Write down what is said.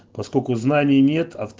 поскольку знаний нет